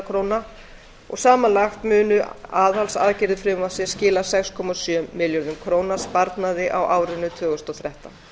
króna og samanlagt muni aðhaldsaðgerðir frumvarpsins skila sex komma sjö milljarða króna sparnaði á árinu tvö þúsund og þrettán